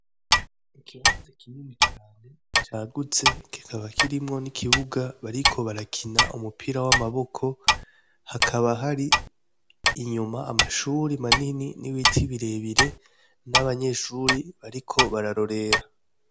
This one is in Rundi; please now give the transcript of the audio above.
Ikibazi kinyuni cane cagutse gikaba kirimwo n'ikibuga bariko barakina umupira w'amaboko hakaba hari inyuma amashuri manini n'ibiti birebire n'abanyeshuri bariko bararorera.